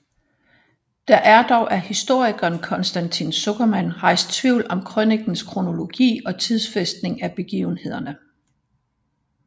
Der er dog af historikeren Constantin Zuckerman rejst tvivl om krønikens kronologi og tidsfæstning af begivenhederne